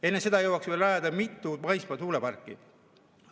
Enne seda jõuaksime rajada mitu maismaa tuuleparki.